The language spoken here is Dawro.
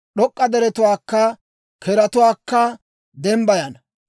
d'ok'k'a deretuwaakka zoozatuwaakka dembbayana;